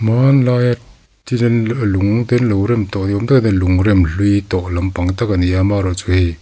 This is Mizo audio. hmanlaia lung te anlo rem tawh ni awm tak ani a lung rem hlui tawh lampang tak ani a amaherawhchu hei--